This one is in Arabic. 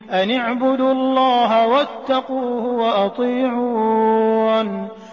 أَنِ اعْبُدُوا اللَّهَ وَاتَّقُوهُ وَأَطِيعُونِ